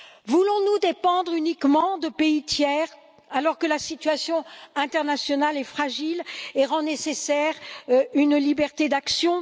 Voulons nous dépendre uniquement de pays tiers, alors que la situation internationale est fragile et rend nécessaire une liberté d'action?